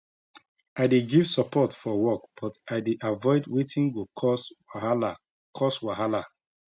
i dey give support forwork but i dey avoid wetin go cause wahala cause wahala